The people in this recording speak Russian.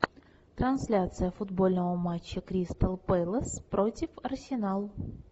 трансляция футбольного матча кристал пэлас против арсенал